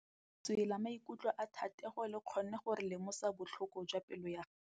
Lentswe la maikutlo a Thategô le kgonne gore re lemosa botlhoko jwa pelô ya gagwe.